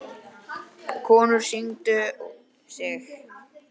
Konur signdu sig.